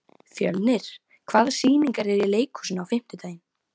Fjörnir, hvaða sýningar eru í leikhúsinu á fimmtudaginn?